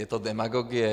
Je to demagogie.